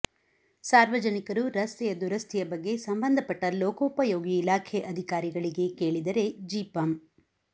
ಸಾರ್ವಜನಿಕರು ರಸ್ತೆಯ ದುರಸ್ಥಿಯ ಬಗ್ಗೆ ಸಂಬಂಧ ಪಟ್ಟ ಲೋಕೊಪಯೋಗಿ ಇಲಾಖೆ ಅಧಿಕಾರಿಗಳಿಗೆ ಕೇಳಿದರೆ ಜಿಪಂ